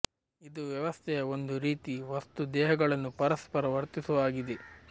ಇದು ವ್ಯವಸ್ಥೆಯ ಒಂದು ರೀತಿಯ ವಸ್ತು ದೇಹಗಳನ್ನು ಪರಸ್ಪರ ವರ್ತಿಸುವ ಆಗಿದೆ